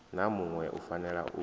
na muṋwe u fanela u